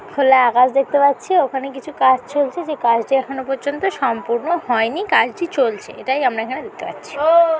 খোলা আকাশ দেখতে পাচ্ছি ওখানে কিছু কাজ চলছে যে কাজটা এখনো পর্যন্ত সম্পূর্ণ হয়নি কাজটি চলছে। এটাই আমার এখানে দেখতে পাচ্ছি।